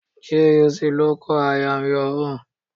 GUC ló kọ 'I am your own' '